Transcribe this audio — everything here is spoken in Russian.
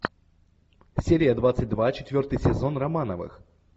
серия двадцать два четвертый сезон романовых